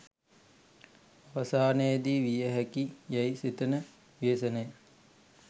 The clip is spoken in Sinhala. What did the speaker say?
අවසානයේදී විය හැකි යැයි සිතන ව්‍යසනය